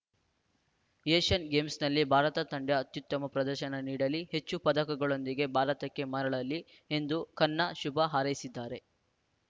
Asian ಗೇಮ್ಸ್‌ನಲ್ಲಿ ಭಾರತ ತಂಡ ಅತ್ಯುತ್ತಮ ಪ್ರದರ್ಶನ ನೀಡಲಿ ಹೆಚ್ಚು ಪದಕಗಳೊಂದಿಗೆ ಭಾರತಕ್ಕೆ ಮರಳಲಿ ಎಂದು ಖನ್ನಾ ಶುಭ ಹಾರೈಸಿದ್ದಾರೆ